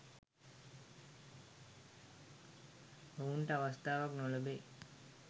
ඔවුනට අවස්ථාවක් නොලැබෙයි